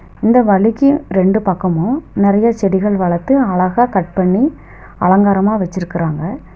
இந்த வழிக்கு ரெண்டு பக்கமு நெறையா செடிகள் வளத்து அழகா கட் பண்ணி அலங்காரமாக வச்சுருக்குறாங்க.